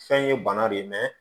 Fɛn ye bana de ye